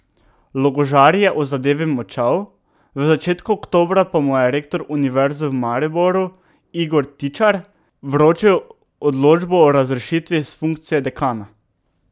Logožar je o zadevi molčal, v začetku oktobra pa mu je rektor Univerze v Mariboru Igor Tičar vročil odločbo o razrešitvi s funkcije dekana.